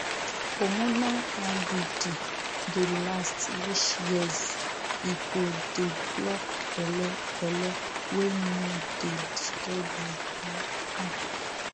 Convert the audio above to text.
hormonal iud dey last reach years ego dey block belle belle wey no dey disturb you um um